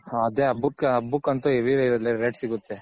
ಅದೆ ಹಬ್ಬಕ್ ಹಬ್ಬಕ್ ಅಂತು heavy rate ಸಿಗುತ್ತೆ.